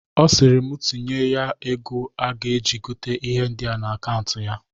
Ọ sịrị mu tinyere ya ego a ga-eji gota ihe ndịa n'akaụnt ya.